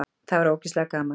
Það var ógeðslega gaman.